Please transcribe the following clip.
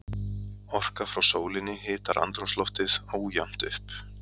Orka frá sólinni hitar andrúmsloftið ójafnt upp.